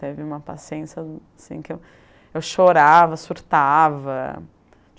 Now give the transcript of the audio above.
Teve uma paciência assim, que eu eu chorava, surtava.